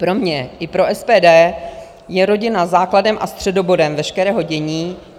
Pro mě i pro SPD je rodina základem a středobodem veškerého dění.